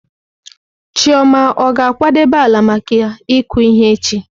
Chioma ọ ga-akwadebe ala maka ịkụ ihe echi?